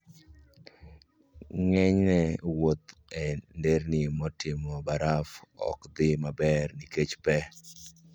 Ng'enyne, wuoth e nderni motimo baraf ok dhi maber nikech pe.